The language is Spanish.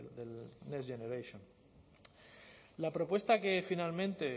next generation la propuesta que finalmente